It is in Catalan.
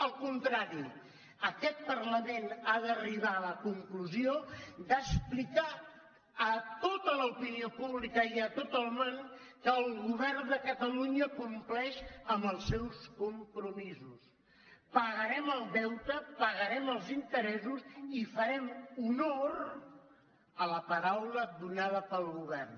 al contrari aquest parlament ha d’arribar a la conclusió d’explicar a tota l’opinió pública i a tot el món que el govern de catalunya compleix amb els seus compromisos pagarem el deute pagarem els interessos i farem honor a la paraula donada pel govern